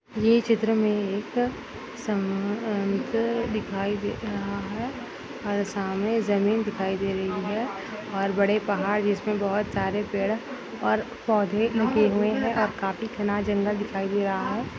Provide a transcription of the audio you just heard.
ये चित्र मे एक दिखाई दे रहा है और सामने जमीन दिखाई दे रही है और बड़े पहाड़ जिसमे बहुत सारे पेड़ और पौधे उगे हुए है और काफी घना जंगल दिखाई दे रहा है।